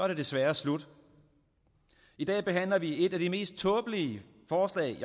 det desværre slut i dag behandler vi et af de mest tåbelige forslag